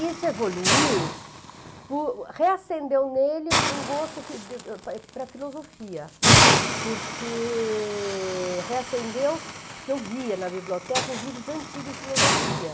Isso evoluiu, reacendeu nele um gosto para filosofia, porque... reacendeu porque eu via na biblioteca os livros antigos de filosofia.